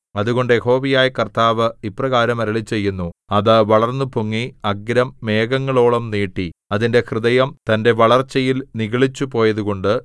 അതുകൊണ്ട് യഹോവയായ കർത്താവ് ഇപ്രകാരം അരുളിച്ചെയ്യുന്നു അത് വളർന്നുപൊങ്ങി അഗ്രം മേഘങ്ങളോളം നീട്ടി അതിന്റെ ഹൃദയം തന്റെ വളർച്ചയിൽ നിഗളിച്ചുപോയതുകൊണ്ട്